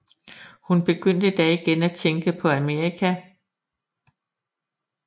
Han begyndte da igen at tænke på Amerika